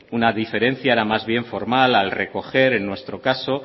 una diferencia era más bien formal al recoger en nuestro caso